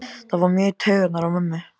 Það fór mjög í taugarnar á mömmu.